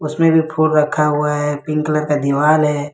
इसमें भी फूल रखा हुआ है पिंक कलर का दीवार है।